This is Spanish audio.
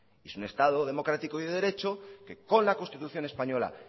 es un estado democrático y de derecho que con la constitución española